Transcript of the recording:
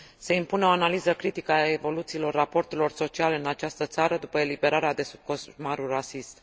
Se impune o analiză critică a evoluțiilor raporturilor sociale în această țară după eliberarea de sub coșmarul rasist.